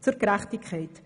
Zur Gerechtigkeit.